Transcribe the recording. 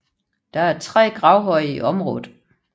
Der er tre gravhøje i området